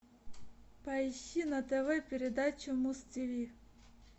поищи на тв передачу муз тв